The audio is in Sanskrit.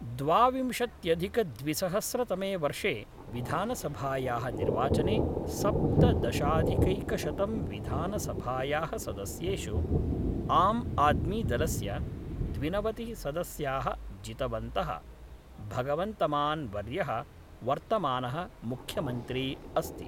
द्वाविंशत्यधिकद्विसहस्रतमे वर्षे विधानसभायाः निर्वाचने सप्तदशाधिकैकशतं विधानसभायाः सदस्येषु, आम् आद्मीदलस्य द्विनवतिः सदस्याः जितवन्तः, भगवन्तमान् वर्यः वर्तमानः मुख्यमन्त्री अस्ति।